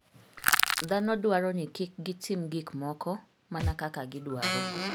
Dhano dwaro ni kik gitim gik moko mana kaka gidwaro.